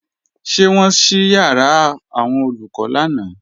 Ṣé wọ́n ṣí ìyàrá àwọn Olùkọ́ lánàá?